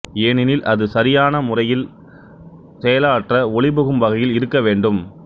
ஏனெனில் அது சரியான முறையில் செயலாற்ற ஒளிபுகும் வகையில் இருக்க வேண்டும்